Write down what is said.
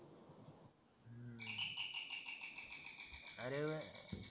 अरे